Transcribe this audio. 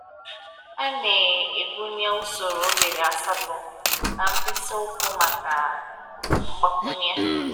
A na-egwunye usoro oghere asatọ na mkpịsị ụkwụ maka mgbakwunye.